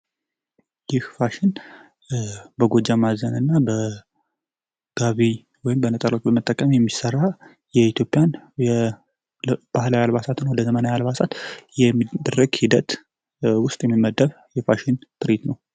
ይህ ፋሽን በጎጃም አዘነ እና በጋቢ ወይም በነጠላ በመጠቀም የሚሠራ የኢትዮፕያን ባህላዊን ወደ ዘመናዊ አልባሳት የሚድርግ ሂደት ውስጥ የሚመደፍ የፋሽን ትሪት ነው።